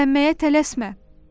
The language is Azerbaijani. Gizlənməyə tələsmə.